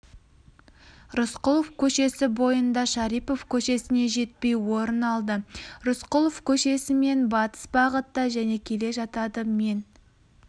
рысқұлов көшесі бойында шарипов көшесіне жетпей орын алды рысқұлов көшесімен батыс бағытта және келе жатады мен